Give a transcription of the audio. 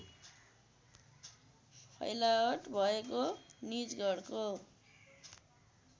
फैलावट भएको निजगढको